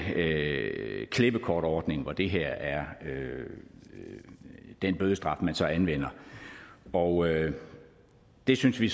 klippekortordning hvor det her er den bødestraf man så anvender og det synes vi